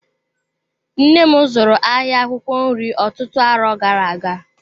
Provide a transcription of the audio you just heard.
Nnem zụrụ ahịa akwụkwọ nri ọtụtụ arọ gara-aga.